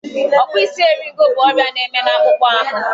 Ọkpụisieriego bụ ọrịa na-eme n'akpụkpọ ahụ.